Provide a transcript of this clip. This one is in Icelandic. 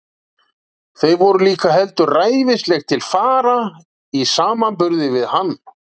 Þau voru líka heldur ræfilsleg til fara í samanburði við hann.